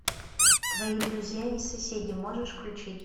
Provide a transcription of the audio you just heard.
твои друзья и соседи можешь включить